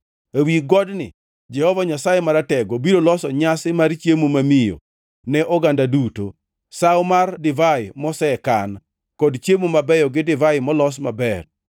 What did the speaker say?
Ewi godni Jehova Nyasaye Maratego biro loso nyasi mar chiemo mamiyo ne oganda duto, sawo mar divai mosekan, kod chiemo mabeyo gi divai molos maber.